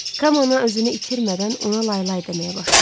Kamana özünü itirmədən ona laylay deməyə başladı.